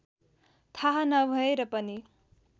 थाहा नभएर पनि